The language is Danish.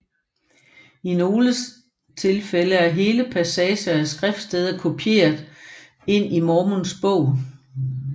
I nogle tilfælde er hele passager af skriftsteder kopieret ind i Mormons Bog